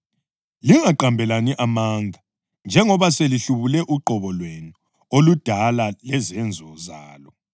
Lingaqambelani amanga njengoba selihlubule uqobo lwenu oludala lezenzo zalo